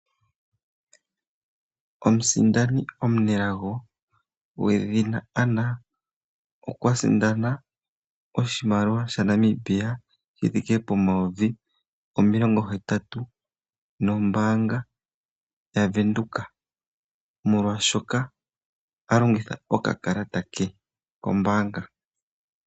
Omusindano omunelago gwedhina Anna okwa sindana oshimaliwa shoodola dhaNamibia shi thike pomayovi omilongo hetatu nombaanga yaVenduka, molwashoka a longitha okakalata ke kombaanga.